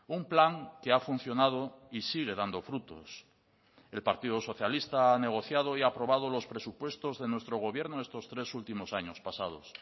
un plan que ha funcionado y sigue dando frutos el partido socialista ha negociado y ha aprobado los presupuestos de nuestro gobierno estos tres últimos años pasados